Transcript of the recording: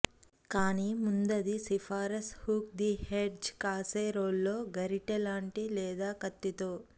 కానీ ముందు అది సిఫార్సు హుక్ ది ఎడ్జ్ కాసేరోల్లో గరిటెలాంటి లేదా కత్తితో